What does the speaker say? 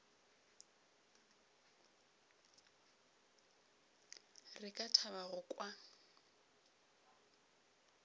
re ka thaba go kwa